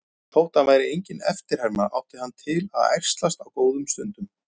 Þótt hann væri engin eftirherma átti hann til að ærslast á góðum stundum.